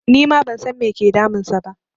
Nima ban san me ke damun sa ba